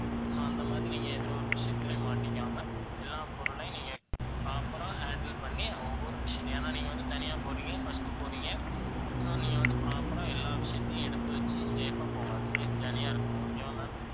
so அந்த மாதிரி நீங்க எந்த ஒரு விஷயத்துலயும் மாட்டிக்காம எல்லா பொருளையும் நீங்க proper ஆ handle பண்ணி ஒவ்வொரு ஏன்னா நீங்க வந்து தனியா போறீங்க first போறீங்க so நீங்க வந்து proper ஆ, எல்லா விஷயத்தையும் எடுத்து வச்சு safe ஆ போங்க safe journey ஆ இருக்கணும் okay வா ma'am